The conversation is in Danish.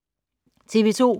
TV 2